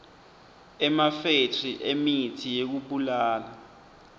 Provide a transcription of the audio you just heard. emafethri emitsi yekubulala